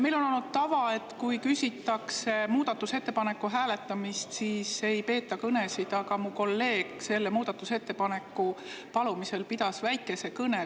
Meil on olnud tava, et kui küsitakse muudatusettepaneku hääletamist, siis ei peeta kõnesid, aga mu kolleeg selle muudatusettepaneku palumisel pidas väikese kõne.